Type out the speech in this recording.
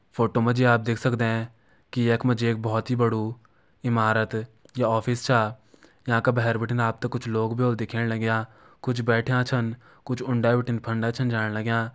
फोटो मा जी आप देख सकदें की यख मा जी एक बहोत बड़ु इमारत या ऑफिस छा यांका भैर बिटिन आप त कुछ लोग भी होला दिखेण लग्यां कुछ बैठ्यां छन कुछ उंडे बिटिन फंडे छन जाण लग्यां।